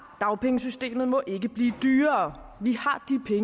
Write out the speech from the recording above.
dagpengesystemet må ikke blive dyrere vi